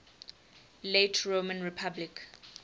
late roman republic